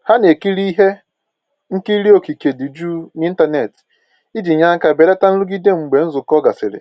Ha na-ekiri ihe nkiri okike dị jụụ n'ịntanetị iji nye aka belata nrụgide mgbe nzukọ gasịrị